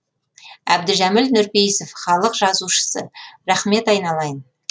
әбдіжәміл нұрпейісов халық жазушысы рахмет айналайын